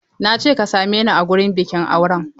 I said meet me at the wedding ceremony!